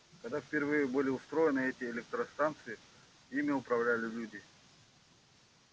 когда впервые были устроены эти электростанции ими управляли люди